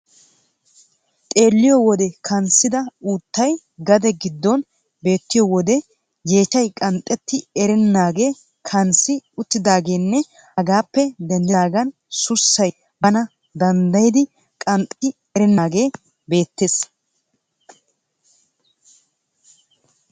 Xeelliyo wode kanssida uuttay gade giddon beettiyo wode yeechchay qanxxetti erennaagee kanssi uttidaageenne hegaappe denddidaagan sussay Bana danddayidi qanxxetti erennaagee beettees.